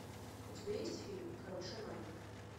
у тебя есть фильм король шаманов